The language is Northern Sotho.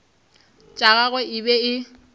tša gagwe e be e